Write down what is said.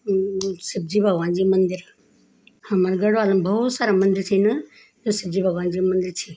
म म शिवजी भगवान जी मंदिर हमर गढ़वाल म बहौत सारा मंदिर छिन जू शिवजी भगवानजी मंदिर छी।